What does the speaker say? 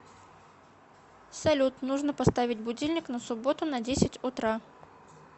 салют нужно поставить будильник на субботу на десятьь утра